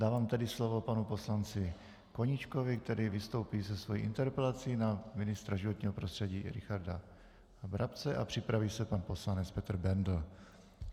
Dávám tedy slovo panu poslanci Koníčkovi, který vystoupí se svou interpelací na ministra životního prostředí Richarda Brabce, a připraví se pan poslanec Petr Bendl.